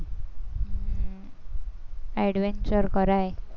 adventure કરાય.